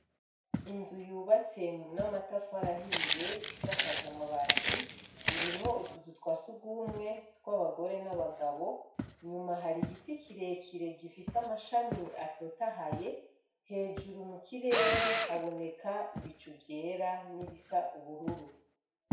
Inzu yubatse n'amatafu arahiye isiakajaamabati irimwo utuzu twase ugumwe tw'abagore n'abagabo nyuma hari igiti kirekire gifise amashami atotahaye hejuru mu kirere haboneka ibicu vyera n'ibisa ubururu.